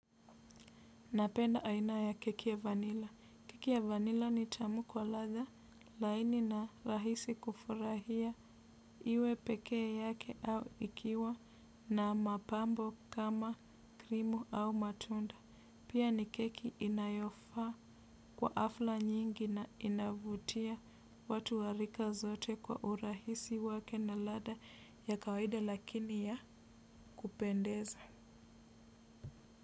Napenda aina ya keki ya vanila. Keki ya vanila ni tamu kwa ladha, laini na rahisi kufurahia iwe pekee yake au ikiwa na mapambo kama krimu au matunda. Pia ni keki inayofaa kwa afla nyingi na inavutia watu wa rika zote kwa urahisi wake na ladha ya kawaida lakini ya kupendeza.